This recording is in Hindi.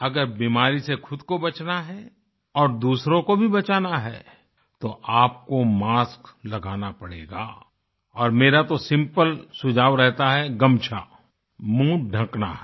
अगर बीमारी से खुद को बचना है और दूसरों को भी बचाना है तो आपको मास्क लगाना पड़ेगा और मेरा तो सिम्पल सुझाव रहता है गमछा मुहँ ढ़कना है